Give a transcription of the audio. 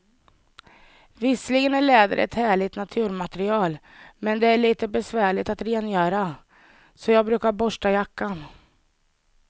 Visserligen är läder ett härligt naturmaterial, men det är lite besvärligt att rengöra, så jag brukar borsta jackan.